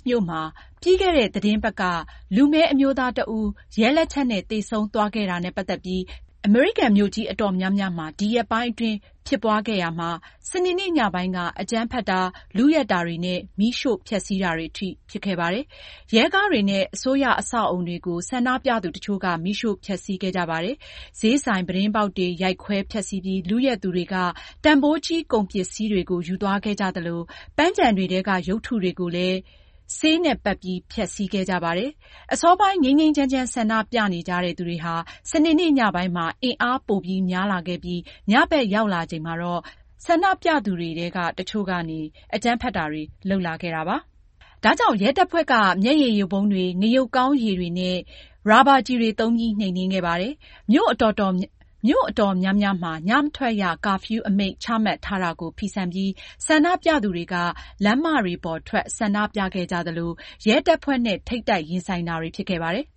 မြို့မှာ ပြီးခဲ့တဲ့ သီတင်းပတ်က လူမည်းအမျိုးသားတဦး ရဲလက်ချက်နဲ့ သေဆုံးသွားခဲ့တာနဲ့ ပတ်သက်ပြီး ကန့်ကွက် ဆန္ဒပြပွဲတွေ အမေရိကန် မြို့ကြီးအတော်များများမှာ ဒီရက်ပိုင်း ဖြစ်ပွားရာမှာ စနေနေ့ညပိုင်းက အကြမ်းဖက်တာတွေ၊ လုယက်တာတွေနဲ့ မီးရှို့ဖျက်ဆီးတာတွေအထိ ဖြစ်ခဲ့ပါတယ်။ ရဲကားတွေနဲ့ အစိုးရ အဆောက်အဦတွေကို ဆန္ဒပြသူတချို့က မီးရှို့ ဖျက်ဆီးခဲ့ကြပါတယ်။ ဈေးဆိုင် ပြတင်းပေါက်တွေ ရိုက်ခွဲ ဖျက်ဆီးပြီး လုယက်သူတွေက တန်ဖိုးကြီး ကုန်ပစ္စည်းတွေကို ယူသွားခဲ့ကြသလို ပန်းခြံတွေထဲက ရုပ်တုတွေကိုလည်း ဆေးတွေနဲ့ပက်ပြီး ဖျက်ဆီးခဲ့ကြပါတယ်။ အစောပိုင်း ငြိမ်းငြိမ်းချမ်းချမ်း ဆန္ဒပြနေကြတဲ့ သူတွေဟာ စနေနေ့ညပိုင်းမှာ အင်အားပိုများလာခဲ့ပြီး ညဘက်ရောက်လာချိန်မှာတော့ ဆန္ဒပြသူတွေထဲက တချို့က အကြမ်းဖက်တာတွေ လုပ်လာခဲ့တာပါ။ ဒါကြောင့် ရဲတပ်ဖွဲ့က မျက်ရည်ယိုဗုံးတွေ၊ ငရုတ်ကောင်းရည်တွေနဲ့ ရာဘာကျည်တွေ သုံးပြီး နှိမ်နင်းခဲ့ပါတယ်။ မြို့အတော်များများမှာ ညမထွက်ရ ကာဖျူးအမိန့် ချမှတ်ထားတာကို ဖီဆန်ပြီး ဆန္ဒပြသူတွေက လမ်းမပေါ်ထွက် ဆန္ဒပြခဲ့ကြသလို ရဲတပ်ဖွဲ့နဲ့ ထိပ်တိုက်ရင်ဆိုင်တာတွေ ဖြစ်ခဲ့ပါတယ်